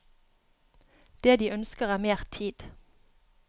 Det de ønsker er mer tid.